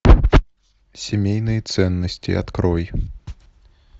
семейные ценности открой